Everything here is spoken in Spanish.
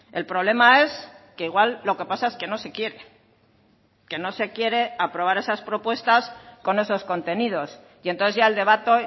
el problema es que igual lo que pasa es que no se quiere que no se quiere aprobar esas propuestas con esos contenidos y entonces ya el debate